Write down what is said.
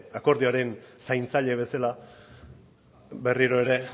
akordioaren zaintzaile bezala berriro ere